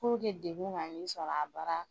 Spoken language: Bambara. Puruke degun kan'i sɔrɔ a baara la.